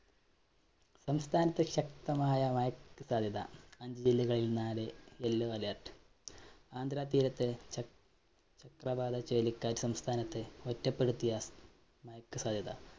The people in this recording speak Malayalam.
സംസ്ഥാനത്ത് ശക്തമായ മഴക്ക് സാധ്യത. അഞ്ച് ജില്ലകളിൽ നാല് yellow alert ആന്ധ്രാ തീരത്ത്‌, ച ചക്രവാത ചുഴലികാറ്റ് സംസ്ഥാനത്ത് ഒറ്റപ്പെടുത്തിയ മഴയ്ക്ക് സാധ്യത.